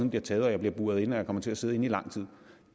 bliver taget og jeg bliver buret inde og jeg kommer til at sidde inde i lang tid